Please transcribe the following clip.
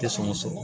Tɛ sɔngɔ sɔrɔ